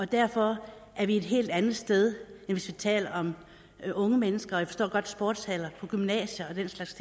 derfor er vi et helt andet sted end hvis vi taler om unge mennesker jeg forstår godt sportshaller på gymnasier og den slags